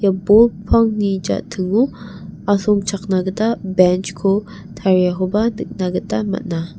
ia bol pangni ja·tingo asongchakna gita benj ko tariakoba nikna gita man·a.